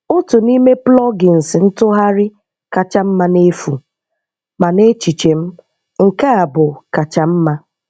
Otu n’ime plugins ntúghàrí kacha mma n’efu, ma n’echiche m, nke a bụ́ kacha mma.